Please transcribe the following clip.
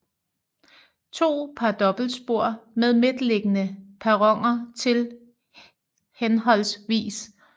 To par dobbeltspor med midtliggende perroner til hhv